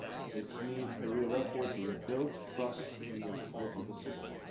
It needs a real effort to rebuild trust in the political system.